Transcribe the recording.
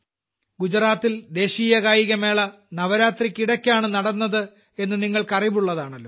ഗുജറാത്തിൽ ദേശീയകായികമേള നവരാത്രിയ്ക്കിടയ്ക്കാണ് നടന്നത് എന്ന നിങ്ങൾക്കറിവുള്ളതാണല്ലോ